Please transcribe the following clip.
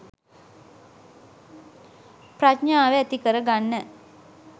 ප්‍රඥාව ඇති කරගන්න